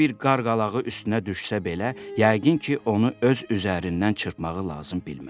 Böyük bir qarqalağı üstünə düşsə belə, yəqin ki, onu öz üzərindən çırpmağı lazım bilməz.